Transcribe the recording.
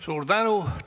Suur tänu!